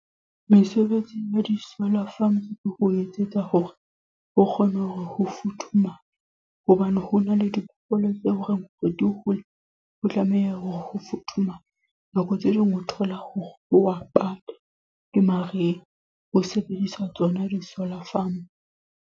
Mesebetsing ya di-solar farm ke ho etsetsa hore, ho kgone ho futhumala. Hobane ho na le diphoofolo tse horeng di hole, ho tlameha hore ho futhumala. Nako tse ding o thola hore ho a bata ke mariha. Ho sebedisa tsona di-solar farm.